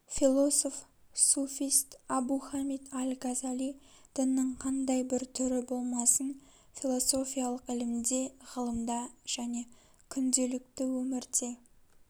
философ суфист абу хамид аль-газали діннің қандай бір түрі болмасын философиялық ілімде ғылымда және күнделікті өмірде